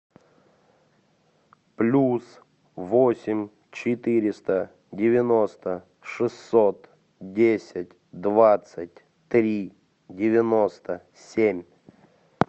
плюс восемь четыреста девяносто шестьсот десять двадцать три девяносто семь